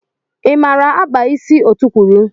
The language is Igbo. I maara akpa ịsị ọtukwuru?